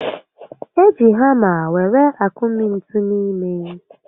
E ji hàmá were akụmi ntú n'ime